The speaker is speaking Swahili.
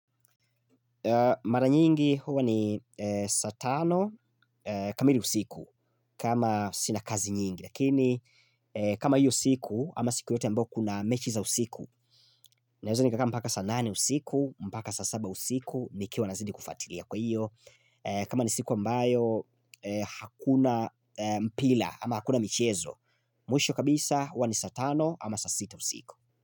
Mara nyingi huwa ni saa tano kamili usiku kama sina kazi nyingi Lakini kama hiyo siku ama siku yoyote ambao kuna mechi za usiku Naeza nikakaa mpaka saa nane usiku mpaka saa saba usiku nikiwa nazidi kufuatilia kwa hiyo kama ni siku ambayo hakuna mpira ama hakuna michezo Mwisho kabisa huwa ni saa tano ama saa sita usiku.